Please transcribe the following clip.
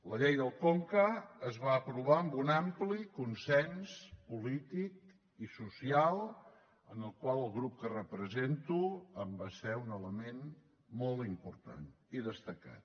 la llei del conca es va aprovar amb un ampli consens polític i social en el qual el grup que represento va ser un element molt important i destacat